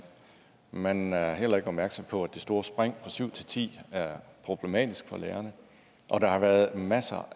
man er heller ikke opmærksom på at det store spring fra syv til ti er problematisk for lærerne og der har været masser